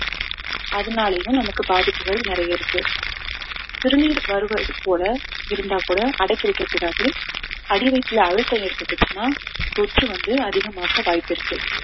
அதனாலயும் நமக்கு பாதிப்புகள் நிறைய இருக்கு சிறுநீர் வருவது போல இருந்தா கூட அடக்கி வைக்கக் கூடாது அடி வயித்துல அழுத்தம் ஏற்பட்டுச்சுன்னா தொற்று வந்து அதிகமாக வாய்ப்பிருக்கு